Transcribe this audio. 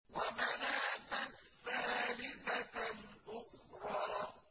وَمَنَاةَ الثَّالِثَةَ الْأُخْرَىٰ